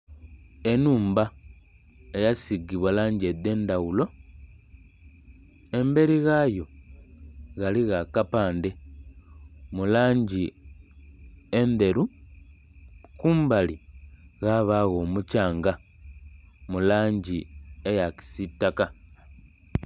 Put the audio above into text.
Enhumba eya sigibwa langi edhendhaghulo emberi ghayo ghaligho akapande mulangi endheru kumbali ghabagho omukyanga mulangi eya kisitaka.